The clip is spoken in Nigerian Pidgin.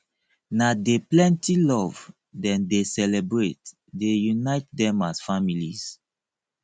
na dey plenty love dem dey celebrate dey unite dem as families